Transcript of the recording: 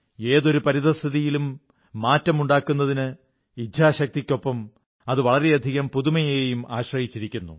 ഏതൊരു പരിസ്ഥിതിയിലും മാറ്റമുണ്ടാക്കുന്നതിന് ഇച്ഛാശക്തിക്കൊപ്പം അത് വളരെയധികം പുതുമയെയും ആശ്രയിച്ചിരിക്കുന്നു